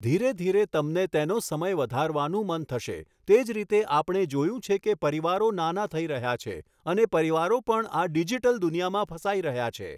ધીરે ધીરે તમને તેનો સમય વધારવાનું મન થશે, તે જ રીતે આપણે જોયું છે કે પરિવારો નાના થઈ રહ્યા છે અને પરિવારો પણ આ ડિજિટલ દુનિયામાં ફસાઈ રહ્યા છે.